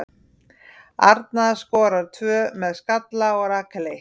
Arna skorar tvö með skalla og Rakel eitt.